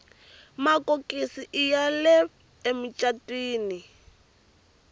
makokisi iya le ngopfu emicatwini